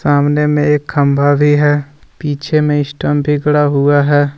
सामने में एक खंभा भी है पीछे में स्टंप भी गड़ा हुआ है ।